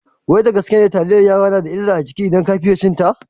Wai da gaske ne taliyar yara tana da illa a jiki idan ka fiye cinta?